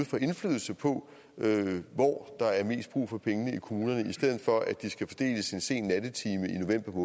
får indflydelse på hvor der er mest brug for pengene i kommunerne i stedet for at de skal fordeles en sen nattetime i